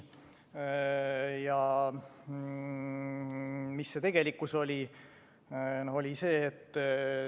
Ja mis see tegelikkus oli?